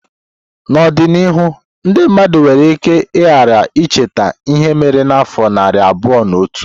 N'ọdịnihu ndị mmadụ nwere ike ghara icheta ihe mere n'afọ narị abụọ na otu.